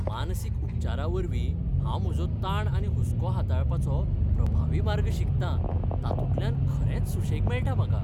मानसीक उपचारावरवीं हांव म्हजो ताण आनी हुस्को हाताळपाचे प्रभावी मार्ग शिकतां ताातूंतल्यान खरेंच सुशेग मेळटा म्हाका.